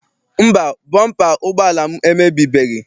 Mba, bọmpa ụgbọala m emebibeghị.